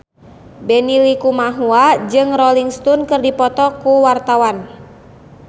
Benny Likumahua jeung Rolling Stone keur dipoto ku wartawan